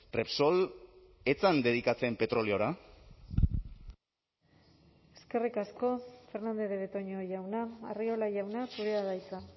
repsol ez zen dedikatzen petroleora eskerrik asko fernandez de betoño jauna arriola jauna zurea da hitza